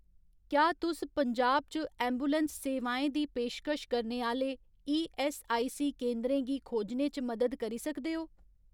क्या तुस पंजाब च ऐम्बुलैंस सेवाएं दी पेशकश करने आह्‌ले ईऐस्सआईसी केंदरें गी खोजने च मदद करी सकदे ओ ?